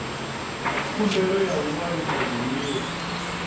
khumbelo ya u ṅwalisa zwiḽiwa